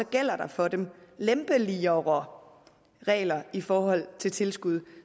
gælder der for dem lempeligere regler i forhold til tilskud